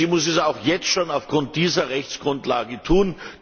Sie muss es auch jetzt schon aufgrund dieser Rechtsgrundlage tun.